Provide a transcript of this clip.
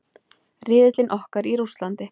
Riðillinn okkar í Rússlandi.